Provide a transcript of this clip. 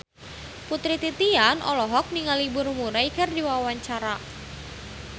Putri Titian olohok ningali Bill Murray keur diwawancara